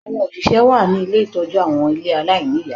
Àwọn oṣìṣẹ́ wà ní ilé ìtọ́jú àwọn ilé aláìníìyá